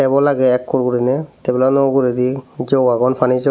wall age ekkur guriney tebil ano uguredi jog agon pani jog.